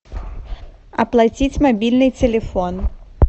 оплатить мобильный телефон